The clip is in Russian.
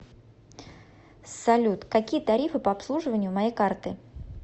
салют какие тарифы по обслуживанию моей карты